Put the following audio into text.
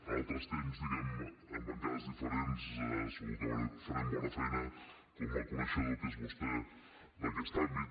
a altres temps diguem en bancades diferents segur que farem bona feina com a coneixedor que és vostè d’aquest àmbit